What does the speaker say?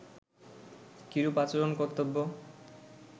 কিরূপ আচরণ কর্তব্য